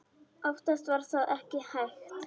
Oftast var það ekki hægt.